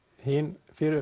hin